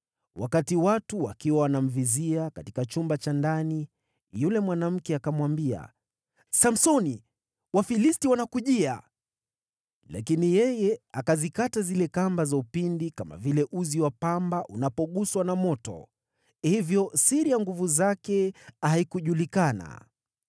Wakati watu wakiwa wanamvizia katika chumba cha ndani, yule mwanamke akamwambia, “Samsoni, Wafilisti wanakujia!” Lakini yeye akazikata zile kamba za upinde, kama vile uzi wa pamba unapoguswa na moto. Hivyo siri ya nguvu zake haikujulikana.